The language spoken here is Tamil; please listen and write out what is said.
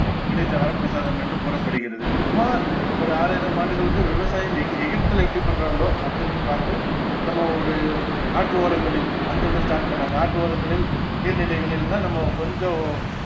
கிடைத்த வரப்பிரசாதம் என்று கூறப்படுகிறது சுமார் ஒரு ஆறாயிரம் ஆண்டுகளுக்கு விவசாயம் எகி~எகிப்துல எப்படி பண்றாங்களோ அங்கிருந்து பார்த்து நம்ம ஒரு ஆற்று ஓரங்களில் அங்கிருந்து start பண்ணாங்க ஆற்று ஓரங்களில் நீர்நிலைகளில் தான் நம்ம கொஞ்சம்